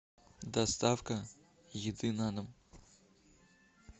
доставка еды на дом